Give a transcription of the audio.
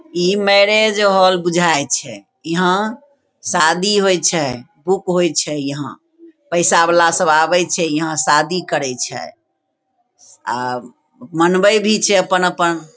ई marriage hall बुझाय छै इहा सादी होय छै उप होय छै यहाँ पैसा वला सब आवे छै यहाँ शादी करय छै और बनबय भी छै अपन-अपन--